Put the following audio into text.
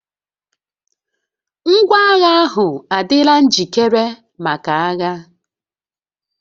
Ngwaagha ahụ adịla njikere maka agha